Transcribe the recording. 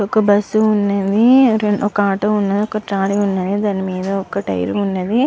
ఒక బస్సు వున్నది ఒక ఆటో వున్నది ఒక త్రాల్లీ వున్నది దాని మేధా ఒక టైర్ వున్నది.